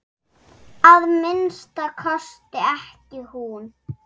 Að minnsta kosti ekki hún.